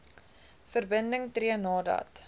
verbinding tree nadat